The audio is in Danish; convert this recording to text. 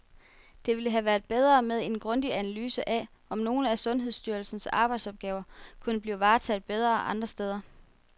Det ville have været bedre med en grundig analyse af, om nogle af sundhedsstyrelsens arbejdsopgaver kunne blive varetaget bedre andre steder.